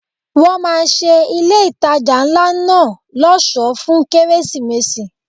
Wọ́n máa ṣe ilé ìtajà ńlá náà ọ̀ṣọ́ fún Kérésìmesì.